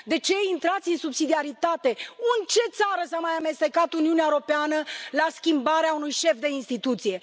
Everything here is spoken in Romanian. De ce intrați în subsidiaritate? În ce țară s a mai amestecat Uniunea Europeană la schimbarea unui șef de instituție?